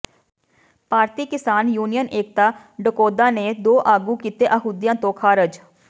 ਭਾਰਤੀ Kisan union Ekta Dakaunda ਨੇ ਦੋ ਆਗੂ ਕੀਤੇ ਅਹੁਦਿਆਂ ਤੋਂ ਖ਼ਾਰਜ